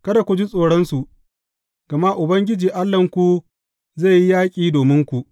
Kada ku ji tsoronsu, gama Ubangiji Allahnku zai yi yaƙi dominku.